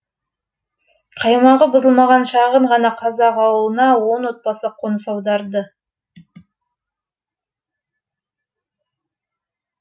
қаймағы бұзылмаған шағын ғана қазақ ауылына он отбасы қоныс аударды